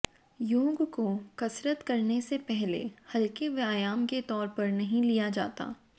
योग को कसरत करने से पहले हल्के व्यायाम के तौर पर नहीं लिया जाता